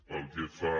pel que fa